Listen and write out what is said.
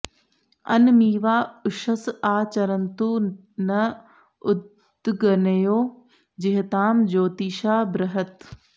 अनमीवा उषस आ चरन्तु न उदग्नयो जिहतां ज्योतिषा बृहत्